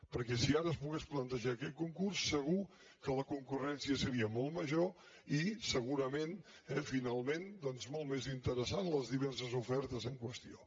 perquè si ara es pogués plantejar aquest concurs segur que la concurrència seria molt major i segurament eh finalment doncs molt més interessants les diverses ofertes en qüestió